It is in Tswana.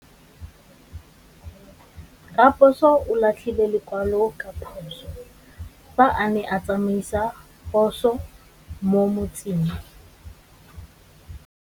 Raposo o latlhie lekwalô ka phosô fa a ne a tsamaisa poso mo motseng.